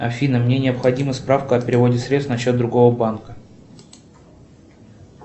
афина мне необходима справка о переводе средств на счет другого банка